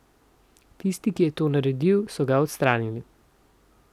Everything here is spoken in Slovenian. Tisti, ki je to naredil, so ga odstranili.